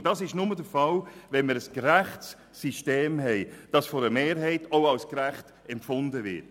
Das ist nur der Fall, wenn wir ein gerechtes System haben, das von einer Mehrheit auch als gerecht empfunden wird.